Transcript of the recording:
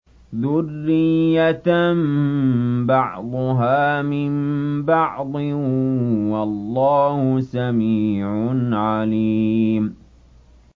ذُرِّيَّةً بَعْضُهَا مِن بَعْضٍ ۗ وَاللَّهُ سَمِيعٌ عَلِيمٌ